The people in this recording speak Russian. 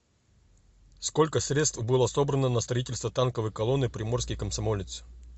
сколько средств было собрано на строительство танковой колонны приморский комсомолец